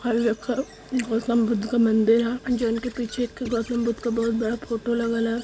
हई देख गोतम बुद्ध का मंदिर ह जो उनके पीछे गोतम बद्ध का बहुत बड़ा फोटो लगल ह।